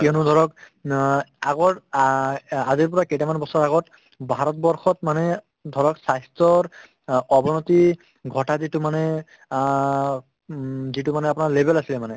কিয়ানো ধৰক অ আগৰ আ আজিৰ পৰা কেইটামান বছৰ আগত ভাৰতবৰ্ষত মানে ধৰক স্ৱাস্থ্যৰ অ অৱনতি ঘটা যিটো মানে আ উম যিটো মানে আপোনাৰ level আছিলে মানে